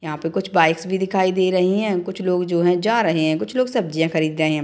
यहाँ पर कुछ बाइक्स भी दिखाई दे रही है कुछ लोग जो है जा रहे है कुछ लोग सब्जियां खरीद रहे है।